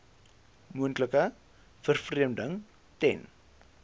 moontlike vervreemding ten